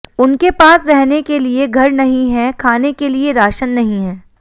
उनके पास रहने के लिए घर नहीं है खाने के लिए राशन नहीं है